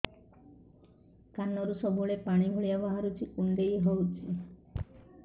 କାନରୁ ସବୁବେଳେ ପାଣି ଭଳିଆ ବାହାରୁଚି କୁଣ୍ଡେଇ ହଉଚି